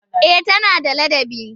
Eh tana da ladabi.